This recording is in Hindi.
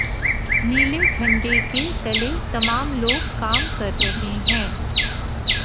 नीले झंडे के तले तमाम लोग काम कर रहे हैं